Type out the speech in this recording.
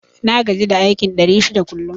Na gaji da aikin ɗari shida kullum